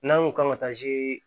N'an ko kan ka taa zi